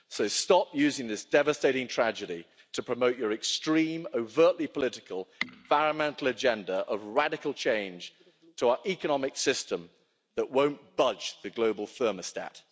So stop using this devastating tragedy to promote your extreme, overtly political environmental agenda of radical change to our economic system that won't budge the global thermostat.